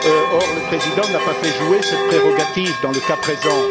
Or, le Président n'a pas fait jouer cette prérogative dans le cas présent.